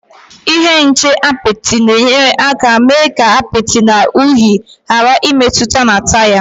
Ihe nche apịtị na-enyere aka mee ka apịtị na unyi ghàrà ịmetụta na taya